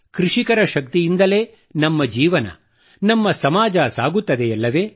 ಕೃಷಿಕರ ಶಕ್ತಿಯಿಂದಲೇ ನಮ್ಮ ಜೀವನ ನಮ್ಮ ಸಮಾಜ ಸಾಗುತ್ತದೆಯಲ್ಲವೇ